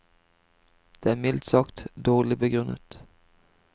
Det er mildt sagt dårlig begrunnet.